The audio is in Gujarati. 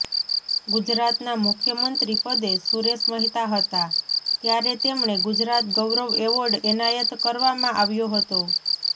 ગુજરાતના મુખ્યમંત્રી પદે સુરેશ મહેતા હતા ત્યારે તેમણે ગુજરાત ગૌરવ એવોર્ડ એનાયત કરવામાં આવ્યો હતો